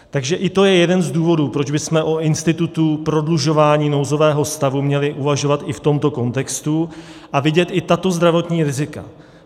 Takže i to je jeden z důvodů, proč bychom o institutu prodlužování nouzového stavu měli uvažovat i v tomto kontextu a vidět i tato zdravotní rizika.